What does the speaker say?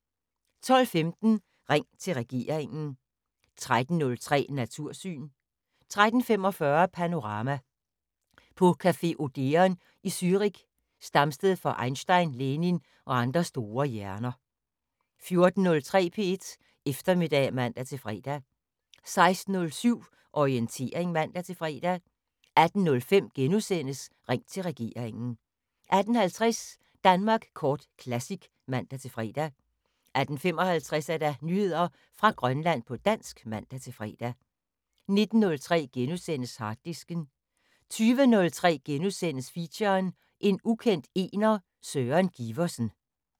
12:15: Ring til regeringen 13:03: Natursyn 13:45: Panorama: På café Odeon i Zürich, stamsted for Einstein, Lenin og andre store hjerner 14:03: P1 Eftermiddag (man-fre) 16:07: Orientering (man-fre) 18:05: Ring til regeringen * 18:50: Danmark Kort Classic (man-fre) 18:55: Nyheder fra Grønland på dansk (man-fre) 19:03: Harddisken * 20:03: Feature: En ukendt ener, Søren Giversen *